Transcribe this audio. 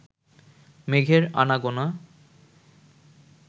মেঘের আনাগোনা